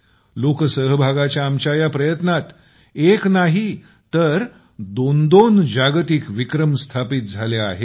लोकसहभागाच्या आपल्या या प्रयत्नात एक नाही तर दोन दोन जागतिक विक्रम स्थापित झाले आहेत